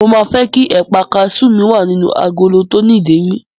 Mo máa fẹ́ kí ẹ̀pà kasú mi wà nínú agolo tó ní ìdérí.